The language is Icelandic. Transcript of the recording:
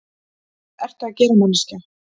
Hvað ertu að gera, manneskja?